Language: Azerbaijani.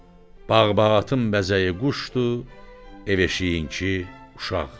Bağ-bağatın bəzəyi quşdur, ev-eşiyinki uşaq.